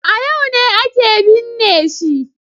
A yau ne ake binne shi.